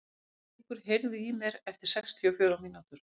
Bæringur, heyrðu í mér eftir sextíu og fjórar mínútur.